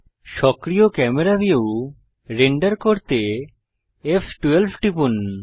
সক্রিয় camera view render করতে ফ12 টিপুন